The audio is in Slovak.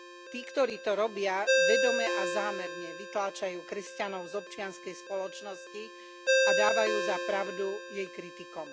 Tí, ktorí to robia, vedome a zámerne vytláčajú kresťanov z občianskej spoločnosti a dávajú za pravdu jej kritikom.